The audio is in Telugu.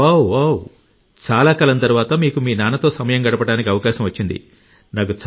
వావ్ వావ్ వావ్ చాలా కాలం తరువాత మీకు మీ నాన్నతో సమయం గడపడానికి అవకాశం వచ్చింది